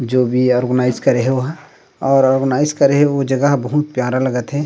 जो भी ऑर्गनाइज करे हे ओहा और ऑर्गनाइज करे हे ओ जगह ह बहुत प्यारा लगा थे।